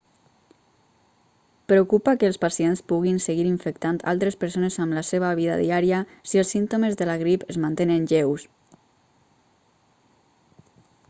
preocupa que els pacients puguin seguir infectant altres persones amb la seva vida diària si els símptomes de la grip es mantenen lleus